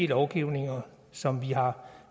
lovgivning som vi har